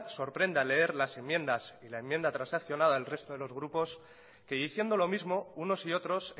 sorprende al leer las enmiendas y la enmienda transaccionada al resto de los grupos que diciendo lo mismo unos y otros